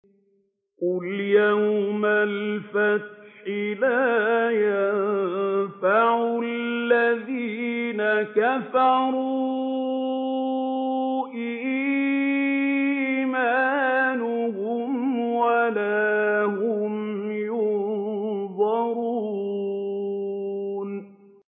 قُلْ يَوْمَ الْفَتْحِ لَا يَنفَعُ الَّذِينَ كَفَرُوا إِيمَانُهُمْ وَلَا هُمْ يُنظَرُونَ